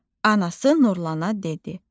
Anası Nurlana dedi: